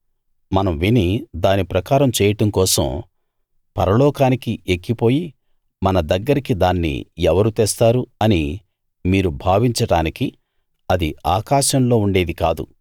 మనం విని దాని ప్రకారం చేయడం కోసం పరలోకానికి ఎక్కిపోయి మన దగ్గరికి దాన్ని ఎవరు తెస్తారు అని మీరు భావించడానికి అది ఆకాశంలో ఉండేది కాదు